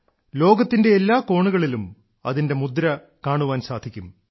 ലോകത്തിന്റെ എല്ലാ കോണുകളിലും അതിന്റെ മുദ്ര കാണാൻ സാധിക്കും